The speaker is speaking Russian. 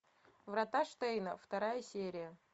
врата штейна вторая серия